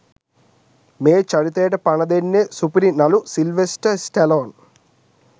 මේ චරිතයට පණ දෙන්නේ සුපිරි නළු සිල්වෙස්ටර් ස්ටැලෝන්